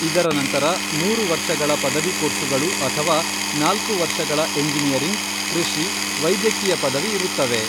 ಇದರ ನಂತರ ಮೂರು ವರ್ಷಗಳ ಪದವಿ ಕೋರ್ಸುಗಳು ಅಥವಾ ನಾಲ್ಕು ವರ್ಷಗಳ ಎಂಜಿನಿಯರಿಂಗ್, ಕೃಷಿ , ವೈದ್ಯಕೀಯ ಪದವಿ ಇರುತ್ತವೆ.